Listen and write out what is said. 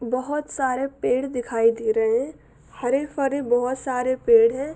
बोहोत सारे पेड़ दिखाई दे रहे है हरे भरे बोहोत सारे पेड़ है।